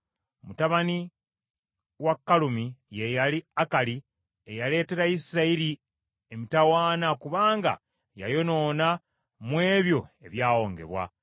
Mutabani wa Kalumi ye yali Akali, eyaleetera Isirayiri emitawaana kubanga yayonoona mu ebyo ebyawongebwa.